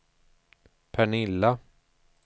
Pernilla